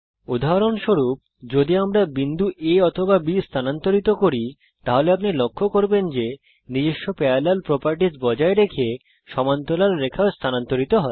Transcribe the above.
উদাহরণস্বরূপ যদি আমরা বিন্দু A অথবা B স্থানান্তরিত করি তাহলে আপনি লক্ষ্য করবেন যে নিজস্ব প্যারালাল প্রপারটিজ বজায় রেখে সমান্তরাল রেখা ও স্থানান্তরিত হয়